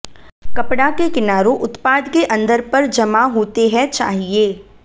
कपड़ा के किनारों उत्पाद के अंदर पर जमा होते है चाहिए